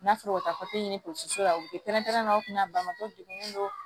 N'a sɔrɔ u ka ɲini la u bɛ prɛnprɛn u kun na ko degun don